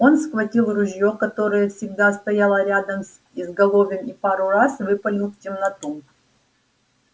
он схватил ружье которое всегда стояло рядом с изголовьем и пару раз выпалил в темноту